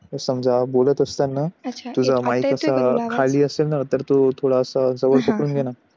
समजा बोलत असताना तुझा असा खाली आली असेल ना तर तो थोडा असा हा हा जवळ घेणा